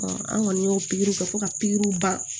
an kɔni y'o pikiriw kɛ fo ka pikiriw ban